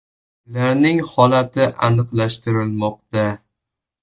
Ularning holati aniqlashtirilmoqda.